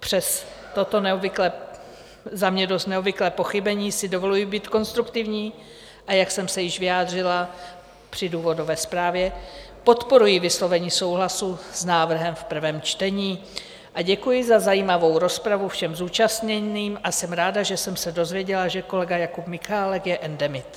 Přes toto za mě dost neobvyklé pochybení si dovoluji být konstruktivní, a jak jsem se již vyjádřila při důvodové zprávě, podporuji vyslovení souhlasu s návrhem v prvém čtení a děkuji za zajímavou rozpravu všem zúčastněným a jsem ráda, že jsem se dozvěděla, že kolega Jakub Michálek je endemit.